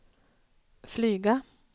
flyga